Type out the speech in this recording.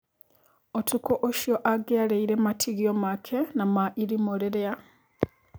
ũtukũ ũcio angiarĩire matigio make na ma irimũ rĩrĩa.